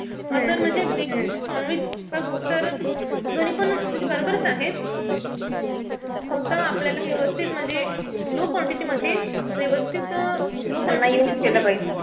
दोन्हीपण म्हणजे बरोबरच आहे. फक्त आपल्याला व्यवस्थित म्हणजे low quantity मध्ये व्यवस्थित